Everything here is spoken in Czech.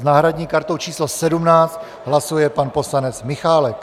S náhradní kartou číslo 17 hlasuje pan poslanec Michálek.